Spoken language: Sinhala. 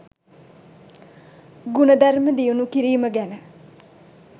ගුණධර්ම දියුණු කිරීම ගැන